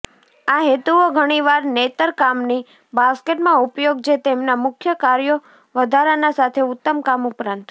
આ હેતુઓ ઘણીવાર નેતરકામની બાસ્કેટમાં ઉપયોગ જે તેમના મુખ્ય કાર્યો વધારાના સાથે ઉત્તમ કામ ઉપરાંત